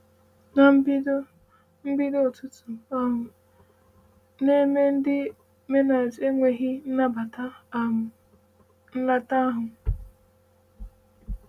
“Na mbido, mbido, ọtụtụ um n’ime ndị Mennonite enweghị nnabata um nleta ahụ.”